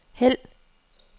hæld